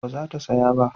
ba za ta saya ba